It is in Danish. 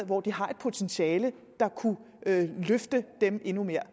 hvor de har et potentiale der kunne løfte dem endnu mere